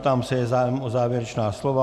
Ptám se, je zájem o závěrečná slova.